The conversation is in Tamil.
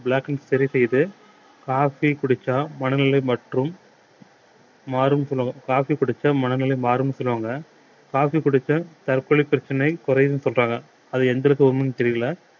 blackring சரி செய்து coffee குடிச்சா மனநிலை மற்றும் மாறும் சொல்வாங்க coffee குடிச்சா மனநிலை மாறும்ன்னு சொல்லுவாங்க coffee குடிச்சா தற்கொலை பிரச்சனை குறையுதுன்னு சொல்றாங்க அது எந்தளவுக்கு உண்மைன்னு தெரியலே